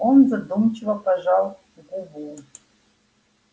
он задумчиво пожевал губу